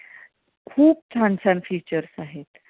खूप छान छान features आहेत.